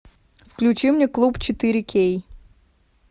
включи мне клуб четыре кей